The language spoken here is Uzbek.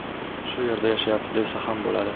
Shu yerda yashayapti desa ham bo‘ladi.